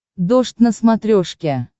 дождь на смотрешке